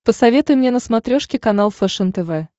посоветуй мне на смотрешке канал фэшен тв